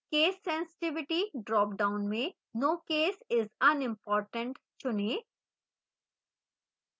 case sensitivity dropdown में no case is unimportant चुनें